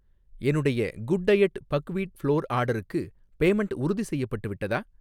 என்னுடைய good diet buckwheat flour ஆர்டர்க்கு payment உறுதிசெய்யப்பட்டு விட்டதா